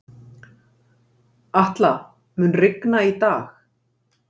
Atla, mun rigna í dag?